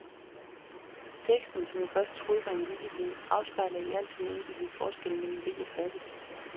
Teksten, som jeg først troede var en vittighed, afspejler i al sin enkelthed forskellen mellen rig og fattig.